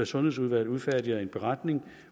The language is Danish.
sundhedsudvalget udfærdiger en beretning